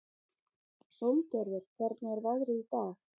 Sólgerður, hvernig er veðrið í dag?